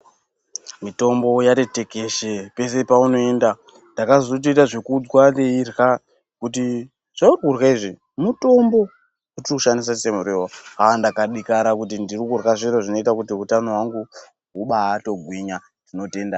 Mitombo yati tekeshe peshe paunoenda. Ndakatozoita zvekuudzwa ndeidyra kuti zveuri kudyra izvi mutombo wetiri kushandisa semuriwo. Aah ndakadekara maningi kuti ndiri kudyra zviro zvinoita kuti utano hwangu hubaatogwinya. Tinotenda.